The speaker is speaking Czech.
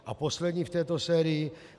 A poslední v této sérii.